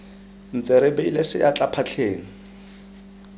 ntse re beile seatla phatleng